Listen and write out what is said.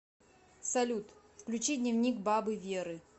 салют включи дневник бабы веры